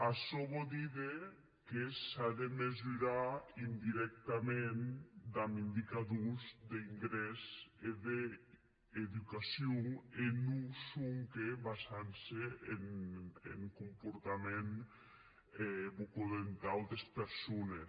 açò vò díder que s’a de mesurar indirèctament damb indicadors d’ingrès e d’educacion e non sonque basant se en comportament bucodentau des persones